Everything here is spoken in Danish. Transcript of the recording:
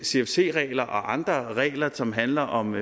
cfc regler og andre regler som handler om